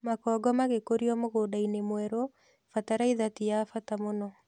Makongo magĩkũrio mũgũnda mwerũ, bataraitha ti ya bata mũno